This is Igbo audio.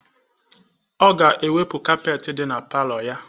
Ọ ga-ewepụ capet dị na palọ ya.